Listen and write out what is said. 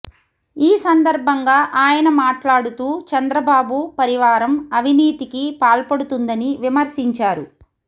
ఈ సందర్భంగా ఆయన మాట్లాడుతూ చంద్రబాబు పరివారం అవినీతికి పాల్పడుతుందని విమర్శించారు